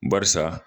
Barisa